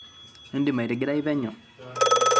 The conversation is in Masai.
idim ating'irai penyo